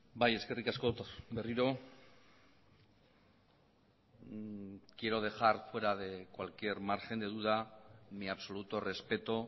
bai eskerrik asko berriro quiero dejar fuera de cualquier margen de duda mi absoluto respeto